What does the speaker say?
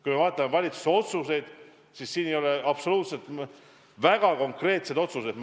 Kui me vaatame valitsuse otsuseid, siis me oleme teinud väga konkreetseid otsuseid.